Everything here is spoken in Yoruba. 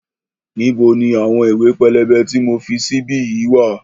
Níbo ni àwọn ìwé pélébé tí mo fi sí bí yìí wá?